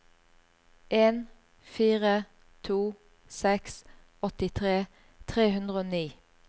en fire to seks åttitre tre hundre og ni